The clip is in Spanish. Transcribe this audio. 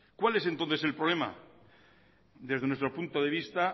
cuál es entonces el problema desde nuestro punto de vista